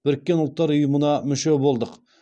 біріккен ұлттар ұйымына мүше болдық